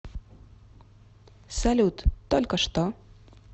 салют только что